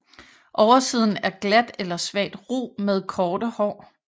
Oversiden er glat eller svagt ru med korte hår